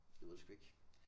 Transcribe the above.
Jeg ved det sgu ikke